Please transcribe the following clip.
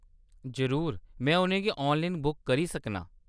जरूर, में उʼनें गी ऑनलाइन बुक करी सकनां ।